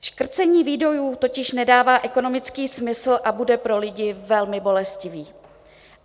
Škrcení výdajů totiž nedává ekonomický smysl a bude pro lidi velmi bolestivé.